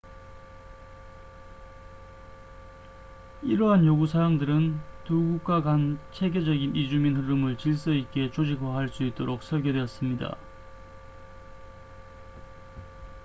이러한 요구 사항들은 두 국가 간 체계적인 이주민 흐름을 질서 있게 조직화할 수 있도록 설계되었습니다